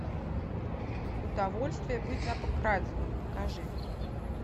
удовольствие быть обкраденным покажи